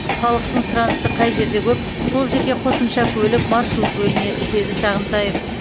халықтың сұранысы қай жерде көп сол жерге қосымша көлік маршрут бөлінеді деді сағынтаев